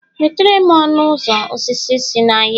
wetare'm ọnụ ụzọ osisi si n'ahịa